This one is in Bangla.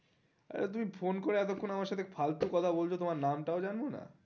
আচ্ছা তুমি ফোন করে এতক্ষন আমার সাথে ফালতু কথা বলছো তোমার নাম হটাও জানবো না।